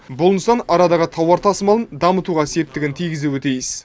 бұл нысан арадағы тауар тасымалын дамытуға септігін тигізуі тиіс